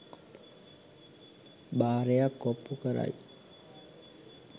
භාරයක් ඔප්පු කරයි